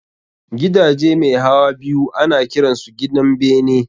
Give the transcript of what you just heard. Gidaje mai hawa biyu ana kiran su gidan bene